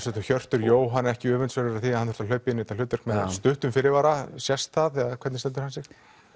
Hjörtur Jóhann ekki öfundsverður af því að hann er að hlaupa í þetta hlutverk með stuttum fyrirvara sést það eða hvernig stendur hann sig